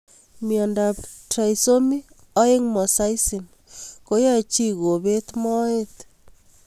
Miondop trisomy 2 mosaicism koyae chii kopet moet